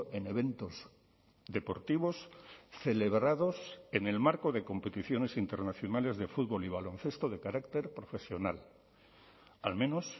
en eventos deportivos celebrados en el marco de competiciones internacionales de fútbol y baloncesto de carácter profesional al menos